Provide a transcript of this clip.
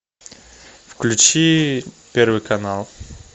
включи первый канал